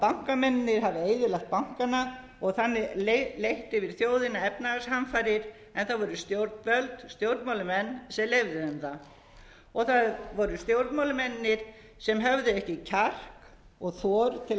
hafi eyðilagt bankana og þannig leitt yfir þjóðina efnahagshamfarir en það voru stjórnvöld stjórnmálamenn sem leyfðu þeim það og það voru stjórnmálamennirnir sem höfðu ekki kjark og þor til að